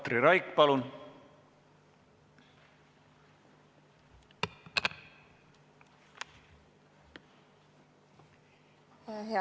Katri Raik, palun!